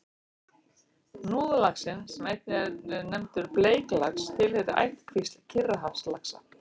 Hnúðlaxinn, sem einnig er nefndur bleiklax, tilheyrir ættkvísl Kyrrahafslaxa.